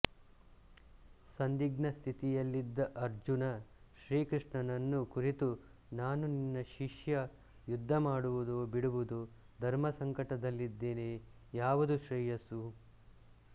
ಸಂದಿಗ್ಧ ಸ್ಥಿತಿಯಲ್ಲಿದ್ದ ಅರ್ಜನ ಶ್ರೀಕೃಷ್ಣನನ್ನು ಕುರಿತು ನಾನು ನಿನ್ನ ಶಿಷ್ಯ ಯುದ್ಧ ಮಾಡುವುದೋ ಬಿಡುವುದೋ ಧರ್ಮಸಂಕಟದಲ್ಲಿದ್ದೇನೆ ಯಾವುದು ಶ್ರೇಯಸ್ಸು